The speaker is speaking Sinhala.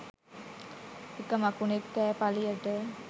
එක මකුණෙක් කෑ පළියට